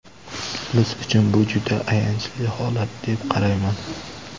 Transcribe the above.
Biz uchun bu juda ayanchli holat, deb qarayman.